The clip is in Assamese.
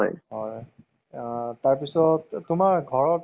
actor যেনেকুৱা নাথাকক কিয় বʼগা, কলা যেনেকুৱা নাথাকক